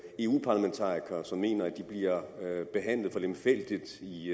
eu parlamentarikere som mener at de bliver behandlet for lemfældigt i